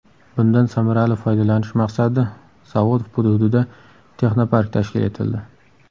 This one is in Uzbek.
Bundan samarali foydalanish maqsadida zavod hududida texnopark tashkil etildi.